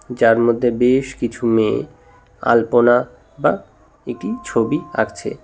যার মধ্যে বেশ কিছু মেয়ে আলপনা বা একটি ছবি আঁকছে।